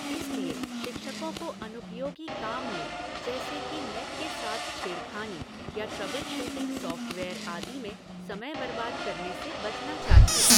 इसलिए शिक्षकों को अनुपयोगी काम में, जैसे कि नेट के साथ छेड़खानी या ट्रबल शूटिंग सॉफ़्टवेयर आदि में, समय बर्बाद करने से बचना चाहिए।